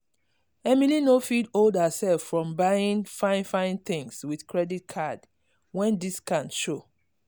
emily no fit hold herself from buying fine fine things with credit card when discount show.